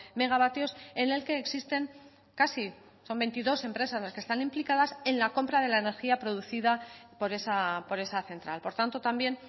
megavatios en el que existen casi son veintidós empresas las que están implicadas en la compra de la energía producida por esa central por tanto también